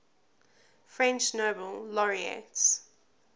french nobel laureates